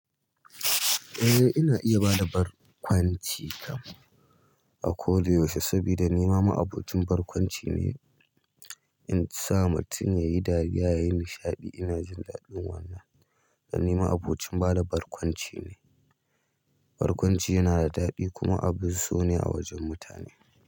Eh, ina iya bada barkwanci kam. A ko da yaushe sabida nima ma'abocin barkwanci ne. In sa mutum yayi dariya yayi nishaɗi ina jin daɗin wannan. Dan ni ma'abocin bada barkwanci ne. Barkwanci yana da daɗi kuma abun so ne a wajen mutane.